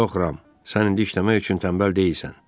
Yox, Ram, sən indi işləmək üçün tənbəl deyilsən.